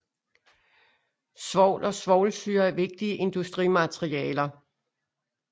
Svovl og svovlsyre er vigtige industrimaterialer